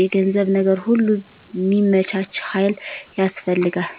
የገንዘብ ነገር ሁሉ ሚመቻች ሀይል ያስፈልጋል